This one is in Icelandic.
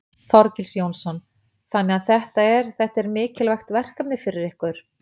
Þorgils Jónsson: Þannig að þetta er, þetta er mikilvægt verkefni fyrir ykkur?